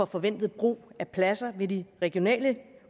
forventede brug af pladser ved de regionale